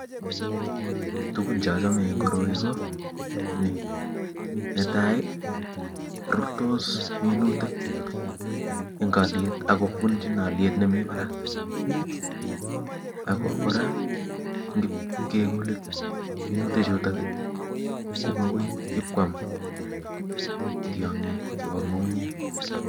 Tukun cheachame eng koroi ko ni netai rurtos minutik eng aliet ak kubunchin eng aliet nemi barak ako kora kimkeminei minutik chutok makoi ipkwam tyong'ik chebo ng'ung'unyek